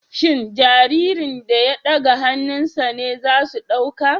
Shin jaririn da ya ɗaga hannunsa ne za su ɗauka